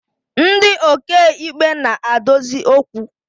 Ndi okeikpe na-adozi okwu